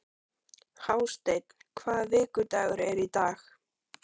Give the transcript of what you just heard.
Hásteinn, hvaða vikudagur er í dag?